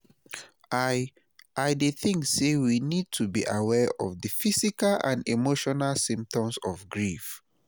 i i dey think say we need to be aware of di physical and emotinal symptoms of grief.